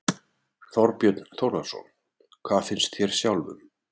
Þorbjörn Þórðarson: Hvað finnst þér sjálfum?